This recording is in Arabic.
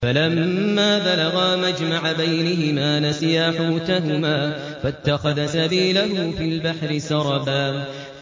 فَلَمَّا بَلَغَا مَجْمَعَ بَيْنِهِمَا نَسِيَا حُوتَهُمَا فَاتَّخَذَ سَبِيلَهُ فِي الْبَحْرِ سَرَبًا